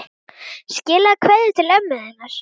Skilaðu kveðju til ömmu þinnar.